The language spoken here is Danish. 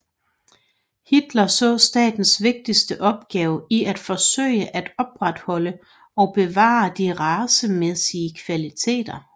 Hitler så statens vigtigste opgave i at forsøge at opretholde og bevare de racemæssige kvaliteter